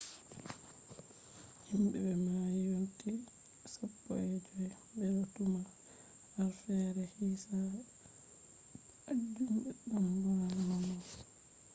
himbe be mayi yonti 15 bedo tuma harfeere hisabu majum beddan buran nonnon